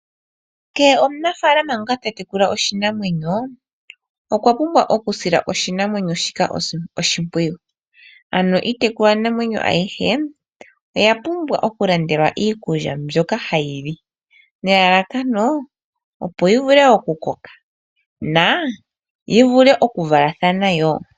Kehe omunafaalama ngoka ta tekula oshinamwenyo, okwa pumbwa oku sila oshinamwenyo shika oshimpwiyu. Ano iitekulwanamwenyo ayihe oya pumbwa oku landelwa iikulya mbyoka hayi li nelalakano opo yi vule oku koka na yi vule oku valathana woo.